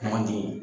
Man di